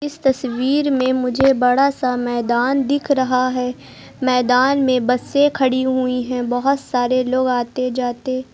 इस तस्वीर में मुझे बड़ा सा मैदान दिख रहा है मैदान में बसें खड़ी हुई हैं बहोत सारे लोग आते जाते--